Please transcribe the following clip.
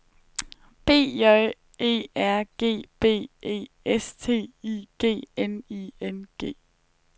B J E R G B E S T I G N I N G